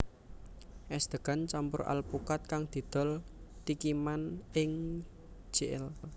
Es degan campur alpukat kang didol Tikiman ing Jl